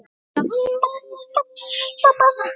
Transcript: Af hverju kom út tromp?